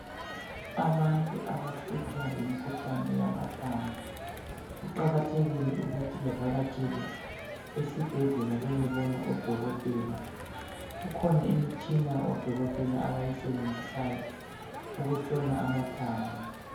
Abantu abahlutshwa yimikhuhlane yamathambo kuqakathekile ukuthi bavakatshele esibhedlela bayebona odokotela kukhona imitshina odokotela abayisebenzisayo ukuhlola amathambo.